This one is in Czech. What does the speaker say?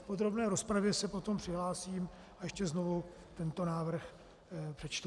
V podrobné rozpravě se potom přihlásím a ještě znovu tento návrh přečtu.